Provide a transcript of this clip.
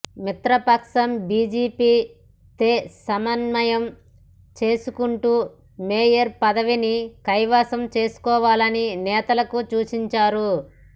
మిత్రపక్షం బిజెపితే సమన్వయం చేసుకుంటూ మేయర్ పదవిని కైవసం చేసుకోవాలని నేతలకు సూచించారు